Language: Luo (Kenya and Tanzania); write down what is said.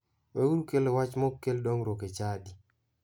Weuru kelo wache ma ok kel dongruok e chadi.